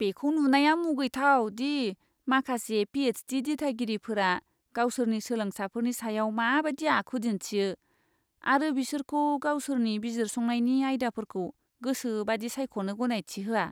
बेखौ नुनाया मुगैथाव दि माखासे पि.एइच.डि. दिथागिरिफोरा गावसोरनि सोलोंसाफोरनि सायाव माबायदि आखु दिन्थियो आरो बिसोरखौ गावसोरनि बिजिरसंनायनि आयदाफोरखौ गोसोबायदि सायख'नो गनायथि होआ।